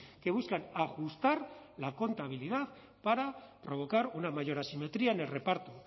que buscan ajustar la contabilidad para provocar una mayor asimetría en el reparto